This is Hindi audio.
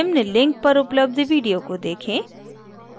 निम्न link पर उपलब्ध video को देखें